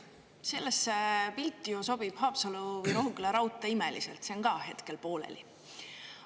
Sellesse pilti ju sobib Haapsalu-Rohuküla raudtee imeliselt, see on ka hetkel pooleli.